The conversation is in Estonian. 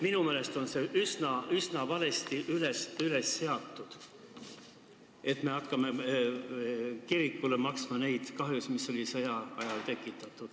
Minu meelest on eesmärk üsna valesti seatud, kui me hakkame kirikule maksma kahjusid, mis sõja ajal tekitati.